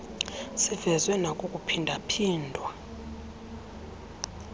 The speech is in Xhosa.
sivezwe nakukuphinda phindwa